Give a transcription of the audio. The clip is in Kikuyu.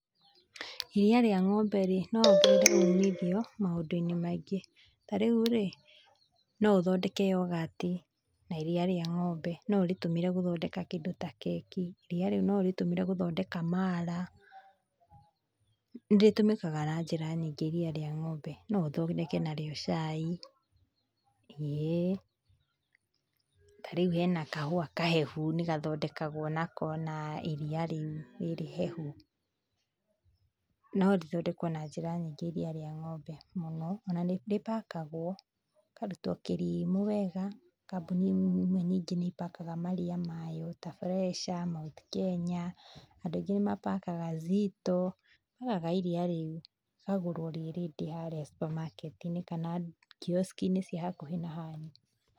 Iria rĩa ng'ombe rĩ no rĩongerere ũmithio maũndu-inĩ maingĩ. Ta rĩu rĩ no ũthondeke yoghurt, na iria rĩa ng'ombe no ũrĩtũmĩre gũthondeka kĩndũ ta keki, iria rĩu no ũrĩtũmĩre gũthondeka mala. Nĩ rĩtũmĩkaga na njĩra nyingĩ iria rĩa ng'ombe. No ũthondeke narĩo cai ĩĩ, tarĩu hena kahua kahehu nĩ gathondekagwo nako na iria rĩu rĩrĩ ihehu no rĩthondekwo na njĩra nyingĩ iria rĩa ng'ombe. Ona nĩ rĩ pakagwo, rĩkarutwo kĩrimũ wega, kambuni imwe nyingĩ nĩ ipakaga maria mayo ta Fresha Mt Kenya, andũ aingĩ nĩ pakaga Zito rĩgũragwo iria rĩu rikagũrwo rĩ ready harĩa supermarketi -inĩ kana kioski -ini cia hakuhĩ na hanyu.